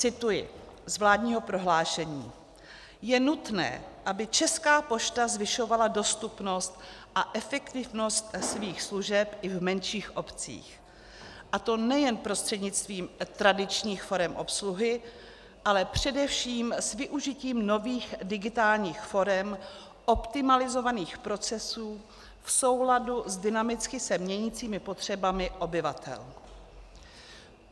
Cituji z vládního prohlášení: "Je nutné, aby Česká pošta zvyšovala dostupnost a efektivnost svých služeb i v menších obcích, a to nejen prostřednictvím tradičních forem obsluhy, ale především s využitím nových digitálních forem optimalizovaných procesů v souladu s dynamicky se měnícími potřebami obyvatel."